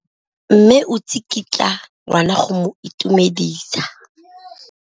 Mme o tsikitla ngwana go mo itumedisa.